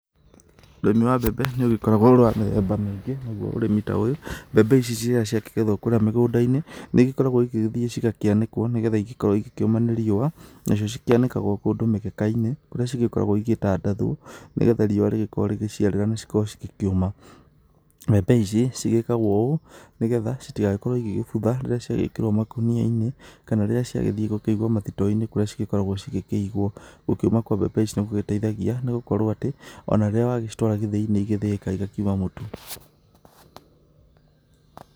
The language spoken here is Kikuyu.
Ũrĩmi wa mbembe nĩũgĩkoragwa wĩ wa mĩthemba mĩingĩ naguo ũrĩmi ta ũyũ, mbembe ici ciakĩgethwo kũrĩa mĩgũndainĩ nĩigĩkoragwo ĩgĩkĩanĩkwo nĩgetha cikorwe cikĩũma ni riũa, nacio cikĩanĩkagwa kũndũ mĩgekainĩ ũrĩa cikoragwo cigĩtandathwo nĩgetha riũa cikoruo cigĩkĩũma, mbembe ici cigĩkagwo ũũ nĩgetha citigagĩkorwe cigĩbutha rĩrĩa cigĩkĩrwa makuniainĩ kana rĩrĩa ciathii kũigwa mathitoinĩ kũrĩa cigĩkoragwo cikĩiguagĩ, gũkũmithio kwa mbembe ici nĩgũteithagia nĩgũkorwo atĩ ona rĩrĩa watwara gĩthĩinĩ igathĩĩka nĩciumaga mũtu.